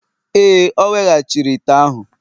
Ee, o weghachiri ite ahụ